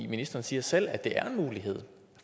ministeren siger selv at det er en mulighed